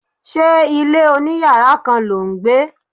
Ṣé ilé oní yàrá kan lò ń gbé?